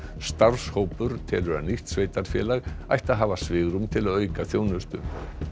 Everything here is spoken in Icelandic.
starfshópur telur að nýtt sveitarfélag ætti hafa svigrúm til að auka þjónustu